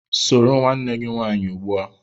Soro nwanne gị nwaanyị ugbu a!